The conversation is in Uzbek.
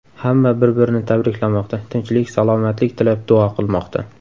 Hamma bir-birini tabriklamoqda, tinchlik, salomatlik tilab duo qilmoqda.